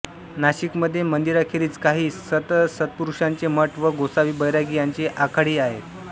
नाशिकमध्ये मंदिरांखेरीज काही संतसत्पुरुषांचे मठ व गोसावी बैरागी यांचे आखाडेही आहेत